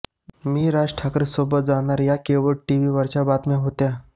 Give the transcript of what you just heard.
मी राज ठाकरे सोबत जाणार या केवळ टिव्ही वरच्या बातम्या होत्या